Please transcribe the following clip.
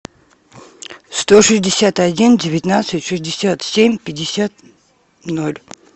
сто шестьдесят один девятнадцать шестьдесят семь пятьдесят ноль